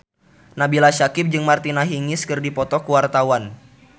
Nabila Syakieb jeung Martina Hingis keur dipoto ku wartawan